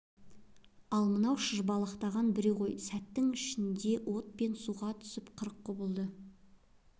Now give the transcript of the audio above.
ал мынау шыжбалақтаған біреу ғой сәттің ішңнде от пен суға түсіп қырық құбылады